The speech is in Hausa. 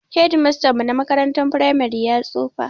Shedimastan mu na makarantar firamare ya tsufa